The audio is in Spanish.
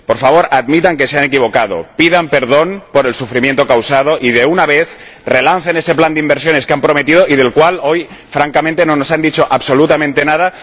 Por favor, admitan que se han equivocado, pidan perdón por el sufrimiento causado y, de una vez, relancen ese plan de inversiones que han prometido y del cual hoy, francamente, no nos han dicho absolutamente nada.